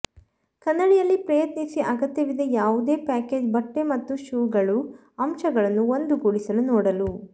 ಕನ್ನಡಿಯಲ್ಲಿ ಪ್ರಯತ್ನಿಸಿ ಅಗತ್ಯವಿದೆ ಯಾವುದೇ ಪ್ಯಾಕೇಜ್ ಬಟ್ಟೆ ಮತ್ತು ಶೂಗಳು ಅಂಶಗಳನ್ನು ಒಂದುಗೂಡಿಸಲು ನೋಡಲು